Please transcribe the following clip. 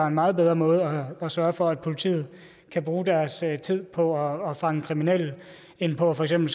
en meget bedre måde at sørge for at politiet kan bruge deres tid på at fange kriminelle end på for eksempel